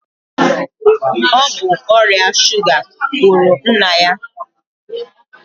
Ọ bụ ọrịa suga gburu nna ya.